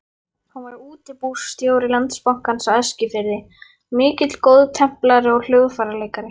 Hann var útibússtjóri Landsbankans á Eskifirði, mikill góðtemplari og hljóðfæraleikari.